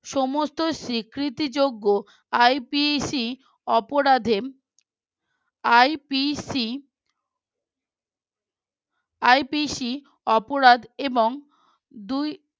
সমস্ত স্বীকৃতিযজ্ঞ IPC অপরাধে IPC IPC অপরাধ এবং দুই